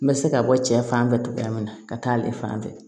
N bɛ se ka bɔ cɛ fan fɛ togoya min na ka taa ale fan fɛ